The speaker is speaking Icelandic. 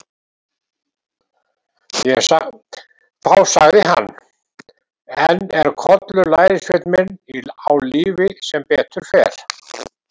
Þá sagði hann: Enn er Kollur lærisveinn minn á lífi sem betur fer.